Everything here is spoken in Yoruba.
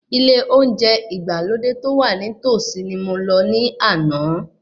Ilé oúnjẹ ìgbàlódé tó wà ní tòsí ni mo lọ ní àná.